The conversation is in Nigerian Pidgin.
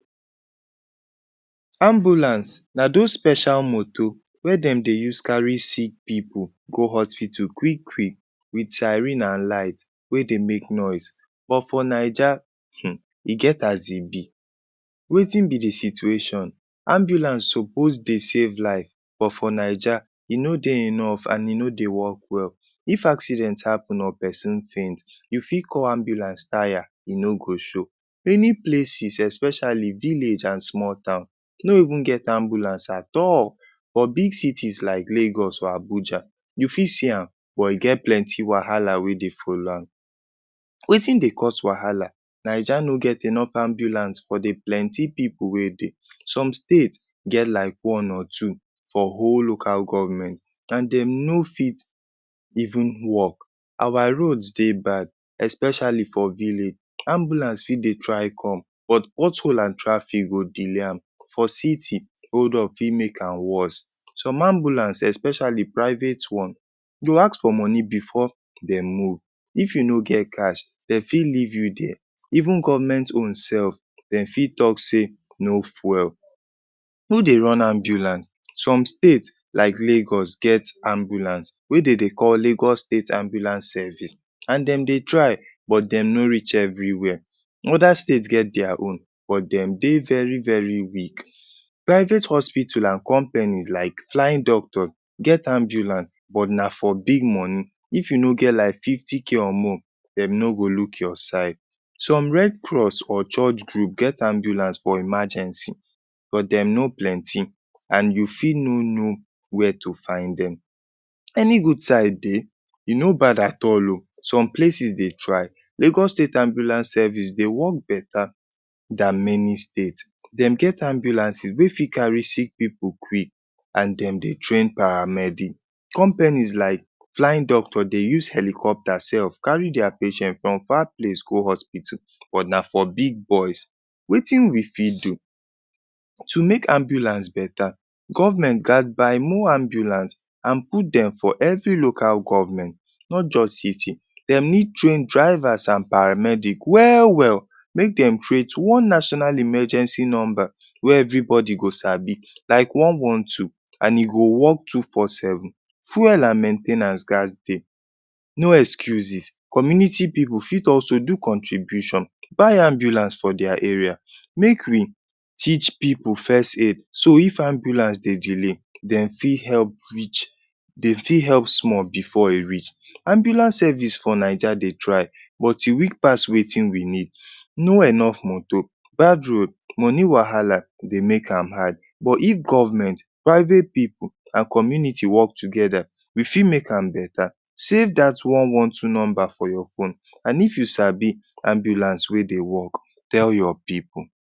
Ambulance na dos special motor wey dem dey use carry sick pipu go hospital quick-quick with siren an light wey dey make noise. But for Naija, hmm e get as e be. Wetin be the situation? Ambulance suppose dey save life but for Naija, e no dey enough, an e no dey work well. If accident happen or peson faint, you fit call ambulance taya, e no go show. Many places, especially village an small town, no even get ambulance at all. For big cities like Lagos or Abuja, you fit see am, but e get plenty wahala wey dey follow am. Wetin dey cause wahala? Naija no get enough ambulance for the plenty pipu wey dey. Some state get like one or two for whole local government, an dem no fit even work. Our roads dey bad, especially for village. Ambulance fit dey try come but pothole an traffic go delay am. For city, hold up fit make am worse. Some ambulance, especially private one, go ask for money before de move. If you no get cash, de fit leave you there. Even government own sef, de fit talk sey no fuel. Who dey run ambulance? Some state like Lagos get ambulance wey de dey call Lagos State Ambulance Service, an dem dey try but dem no reach everywhere. Other state get dia own but dem dey very very weak. Private hospital an companies like Flying Doctor get ambulance but na for big money. If you no get like fifty k or more, dem no go look your side. Some Red Cross or church group get ambulance for emergency but dem no plenty, an you fit no know where to find dem. Any good side dey? E no bad at all oh. Some places dey try. Lagos State Ambulance Service dey work beta than many state. Dem get ambulances wey fit carry sick pipu quick an dem dey train paramedic. Companies like Flying Doctor dey use helicopter sef carry dia patient from far place go hospital, but na for big boys. Wetin we fit do? To make ambulance beta, government gaz buy more ambulance an put dem for every local government, not juz city. Dem need train drivers an paramedic well-well. Make dem create one national emergency nomba wey everybody go sabi, like one one two an e go work two four seven. Fuel an main ten ance gaz dey. No excuses. Community pipu fit also do contribution buy ambulance for dia area. Make we teach pipu first-aid. So, if ambulance dey delay, dem fit help reach dem fit help small before e reach. Ambulance service for Naija dey try, but e weak pass wetin we need. No enough motor, bad road, money wahala dey make am hard. But if government, private pipu, an community work together, we fit make am beta. Save dat one one two nomba for your phone an if you sabi ambulance wey dey work, tell your pipu